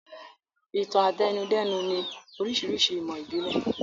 Ìtàn-àtẹnudẹ́nu ni oríṣiríṣi ìmọ̀ ìbílẹ̀.